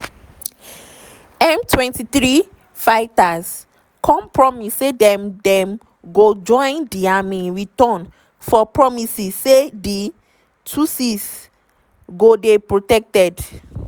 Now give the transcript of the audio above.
m23 fighters come promise say dem dem go join di army in return for promises say di tutsis go dey protected.